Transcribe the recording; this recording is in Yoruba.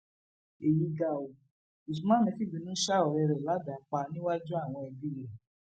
èyí ga ọ usman fìbínú ṣa ọrẹ rẹ ládàá pa níwájú àwọn ẹbí rẹ